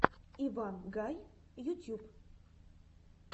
иван гай ютьюб